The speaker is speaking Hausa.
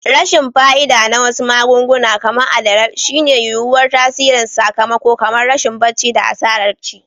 Rashin fa'ida na wasu magunguna, kamar adderall, shine yuwuwar tasirin sakamako kamar rashin barci da asarar ci.